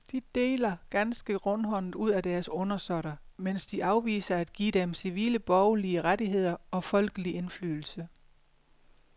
De deler ganske rundhåndet ud til deres undersåtter, mens de afviser at give dem civile borgerlige rettigheder og folkelig indflydelse.